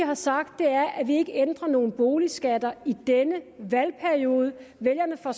har sagt er at vi ikke ændrer nogen boligskatter i denne valgperiode vælgerne får